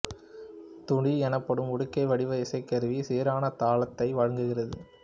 துடி எனப்படும் உடுக்கை வடிவ இசைக்கருவி சீரான தாளத்தை வழங்குகிறது